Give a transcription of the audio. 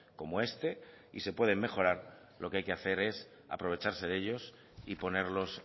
como este y se pueden mejorar lo que hay que hacer es aprovecharse de ellos y ponerlos